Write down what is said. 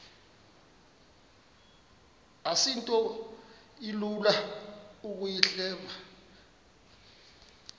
asinto ilula ukuyihleba